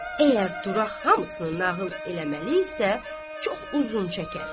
Əgər Duraq hamısını nağıl eləməli isə, çox uzun çəkər.